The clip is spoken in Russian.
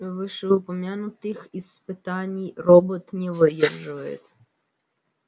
вышеупомянутых испытаний робот не выдерживает